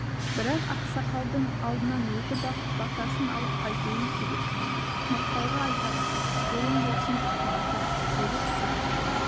бірақ ақсақалдың алдынан өтіп ақ батасын алып қайтуым керек мақпалға айтарсың жолың болсын батыр сегіз сұқ